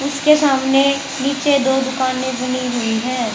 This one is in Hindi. इसके सामने नीचे दो दुकानें बनी हुई हैं।